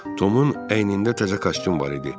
Tomun əynində təzə kostyum var idi.